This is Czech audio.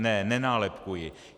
Ne, nenálepkuji.